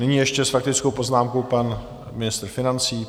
Nyní ještě s faktickou poznámkou pan ministr financí.